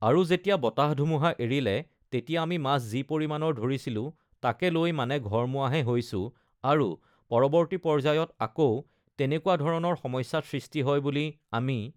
আৰু যেতিয়া বতাহ-ধুমুহা এৰিলে তেতিয়া আমি মাছ যি পৰিমাণৰ ধৰিছিলোঁ তাকে লৈ uhh মানে ঘৰমুৱাহে হৈছোঁ আৰু uhh পৰৱৰ্তী পৰ্য্যায়ত আকৌ তেনেকুৱা ধৰণৰ সমস্যা সৃষ্টি হয় বুলি আমি